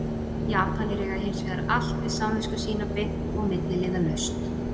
Japanir eiga hins vegar allt við samvisku sína beint og milliliðalaust.